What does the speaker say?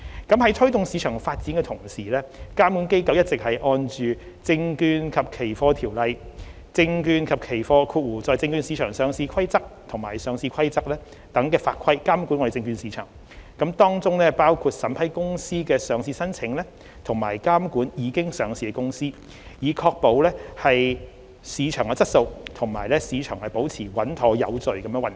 在推動市場發展的同時，監管機構一直按《證券及期貨條例》、《證券及期貨規則》和《上市規則》等法規監管證券市場，當中包括審批公司的上市申請，以及監管已上市的公司，確保市場質素及市場保持穩妥有序地運作。